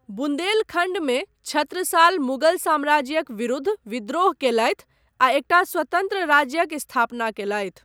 बुंदेलखण्डमे छत्रसाल मुगल साम्राज्यक विरुद्ध विद्रोह कयलथि आ एकटा स्वतन्त्र राज्यक स्थापना कयलथि।